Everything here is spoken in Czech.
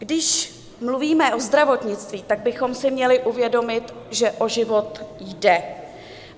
Když mluvíme o zdravotnictví, tak bychom si měli uvědomit, že o život jde.